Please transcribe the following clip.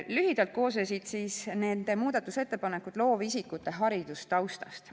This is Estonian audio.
Lühidalt öeldes koosnes nende muudatusettepanek loovisikute haridustaustast.